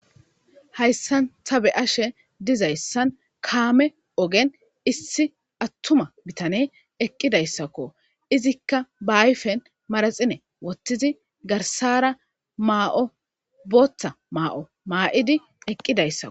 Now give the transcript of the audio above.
Hayssan ta be7ashe dizayssan kaame ogen issi attuma bitane eqidayssako. Izikka ba ayfen maraxinne wotidi garssara ma7o booththa ma7o ma7idi eqqidayssakko.